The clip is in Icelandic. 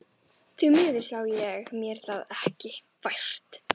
Því miður sá ég mér það ekki fært.